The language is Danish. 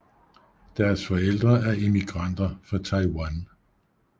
Deres forældre er immigranter fra Taiwan